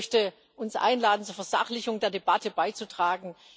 Ich möchte uns einladen, zur Versachlichung der Debatte beizutragen.